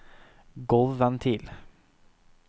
gulvventil